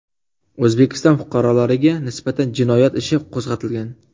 O‘zbekiston fuqarolariga nisbatan jinoyat ishi qo‘zg‘atilgan.